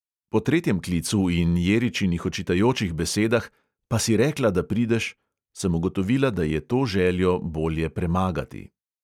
Po tretjem klicu in jeričinih očitajočih besedah "pa si rekla, da prideš," sem ugotovila, da je to željo bolje premagati.